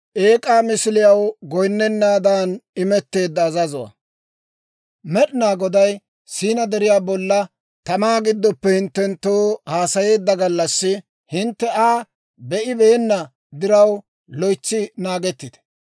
«Med'inaa Goday Siinaa Deriyaa bollan tamaa gidoppe hinttenttoo haasayeedda gallassi, hintte Aa be'ibeenna diraw, loytsi naagettite.